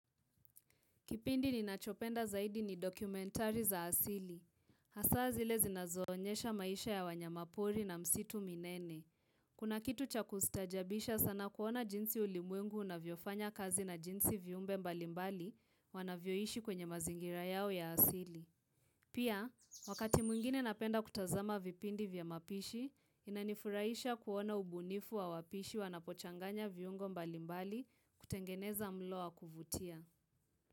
Kipindi ninachopenda zaidi ni dokumentari za asili. Hasa zile zinazoonyesha maisha ya wanyama pori na misitu minene. Kuna kitu cha kustaajabisha sana kuona jinsi ulimwengu unavyofanya kazi na jinsi viumbe mbalimbali wanavyoishi kwenye mazingira yao ya asili. Pia, wakati mwingine napenda kutazama vipindi vya mapishi, inanifurahisha kuona ubunifu wa wapishi wanapochanganya viungo mbalimbali kutengeneza mlo wa kuvutia.